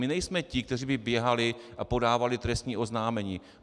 My nejsme ti, kteří by běhali a podávali trestní oznámení.